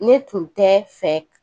Ne tun tɛ fɛ